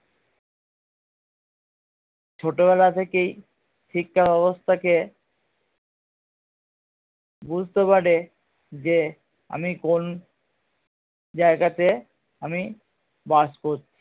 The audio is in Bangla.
ছোটবেলা থেকেই শিক্ষা ব্যাবস্থা কে বুঝতে পারে যে আমি কোন জায়গাতে আমি বাস করছি